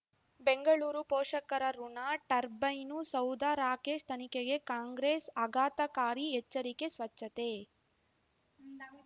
ಬೆಂಗಳೂರು ಪೋಷಕರಋಣ ಟರ್ಬೈನು ಸೌಧ ರಾಕೇಶ್ ತನಿಖೆಗೆ ಕಾಂಗ್ರೆಸ್ ಆಘಾತಕಾರಿ ಎಚ್ಚರಿಕೆ ಸ್ವಚ್ಛತೆ